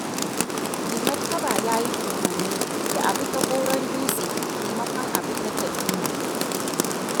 Mai martaba ya yi umarni da abi ta Goron Dutse maimakon a bi ta Tal'udu.